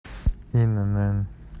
инн